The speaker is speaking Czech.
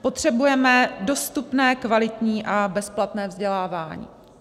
Potřebujeme dostupné, kvalitní a bezplatné vzdělávání.